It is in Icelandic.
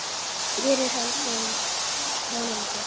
Hér er hann kóngur.